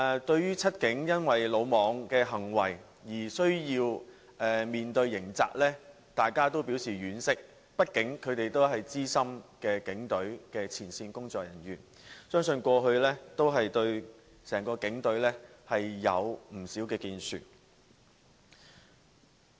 對於"七警"因魯莽行為而需要面對刑責，大家均表示婉惜，畢竟他們都是警隊的資深前線工作人員，相信他們過去對整個警隊也有不少建樹。